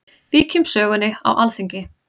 Víkjum sögunni á Alþingi.